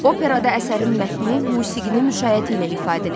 Operada əsərin mətni musiqinin müşayiəti ilə ifadə edilir.